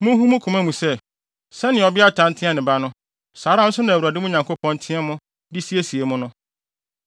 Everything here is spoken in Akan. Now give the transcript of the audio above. Munhu wɔ mo koma mu sɛ, sɛnea ɔbeatan teɛ ne ba no, saa ara nso na Awurade, mo Nyankopɔn, teɛ mo de siesie mo no.